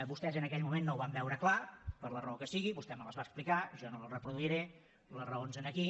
vostès en aquell moment no ho van veure clar per la raó que sigui vostè me les va explicar jo no les reproduiré les raons aquí